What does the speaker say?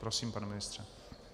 Prosím, pane ministře.